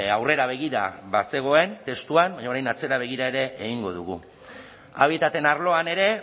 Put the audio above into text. aurrera begira bazegoen testuan baina orain atzera begira ere egingo dugu habitaten arloan ere